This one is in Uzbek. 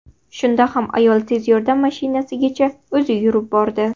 Shunda ham ayol tez yordam mashinasigacha o‘zi yurib bordi.